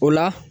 O la